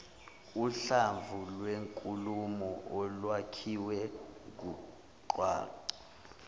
uhlamvulwenkulumo olwakhiwe ngungwaqa